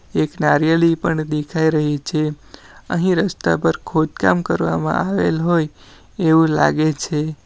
એક નારીયેલી પણ દેખાઈ રહી છે અહીં રસ્તા પર ખોદકામ કરવામાં આવેલ હોય એવું લાગે છે.